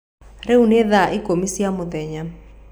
Rĩu nĩ thaa ikũmi cia mũthenya.